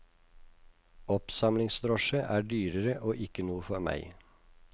Oppsamlingsdrosje er dyrere og ikke noe for meg.